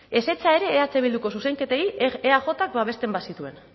ezetza ere eh bilduko zuzenketei eajk babesten bazituen